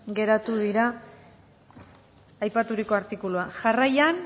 geratu dira aipaturiko artikuluak jarraian